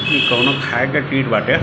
ये कोनो खाये के चीज बाटे